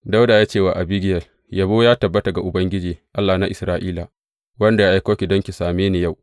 Dawuda ya ce wa Abigiyel, Yabo ya tabbata ga Ubangiji, Allah na Isra’ila, wanda ya aiko ki don ki same ni yau.